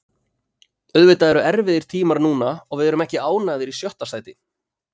Auðvitað eru erfiðir tímar núna og við erum ekki ánægðir í sjötta sæti.